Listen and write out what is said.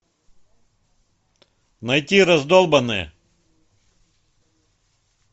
найти раздолбанные